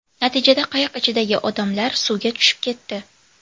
Natijada, qayiq ichidagi odamlar suvga tushib ketdi.